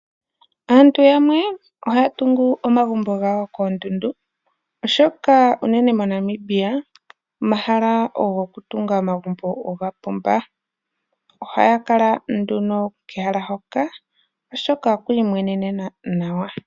Aantu yamwe ohaya tungu omagumbo gawo koondundu oshoka unene moNamibia omahala gokutunga omagumbo oga pumba. Ohaya kala nduno kehala hoka oshoka okwiimwenenena nawa.